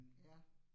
Ja